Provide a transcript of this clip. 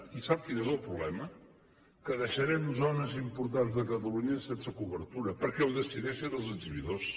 i sap quin és el problema que deixarem zones importants de catalunya sense cobertura perquè ho decideixen els exhibidors